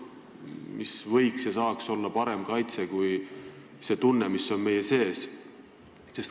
Mis võiks ja saaks olla parem kaitse kui see tunne, mis on meie sees?